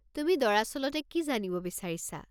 তুমি দৰাচলতে কি জানিব বিচাৰিছা?